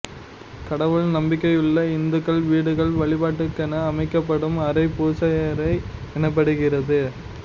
கடவுள் நம்பிக்கையுள்ள இந்துக்கள் வீடுகளில் வழிபாட்டுக்கென அமைக்கப்படும் அறை பூசையறை எனப்படுகிறது